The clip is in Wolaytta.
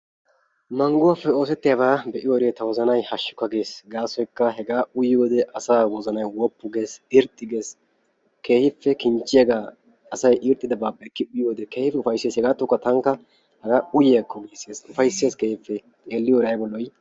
Mangguwappe oosettiyabaa be"iyoode ta wozanayi hashshukka ges. Gaasoykka hegaa uyiyoode asaa wozanayi woppu ges irxxi ges keehippe kinchchiyagaa asayi irxxidabaappe ekki uyiyode. keehippe ufaysses hegaattuwakka tankka hagaa uyiyakko giisses ufaysses keehippe xeelliyode ayba lo"ii.